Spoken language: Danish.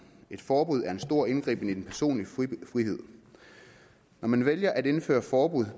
et forbud er en stor indgriben i den personlige frihed når man vælger at indføre forbud